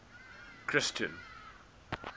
christian